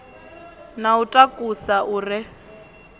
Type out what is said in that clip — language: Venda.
na u takusa u re